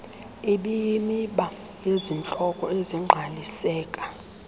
ibeyimiba yezihloko ezingqaliseka